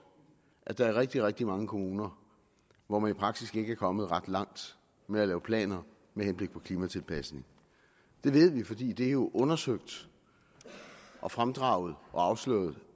at der er rigtig rigtig mange kommuner hvor man i praksis ikke er kommet ret langt med at lave planer med henblik på klimatilpasning det ved vi fordi det jo er undersøgt og fremdraget og afsløret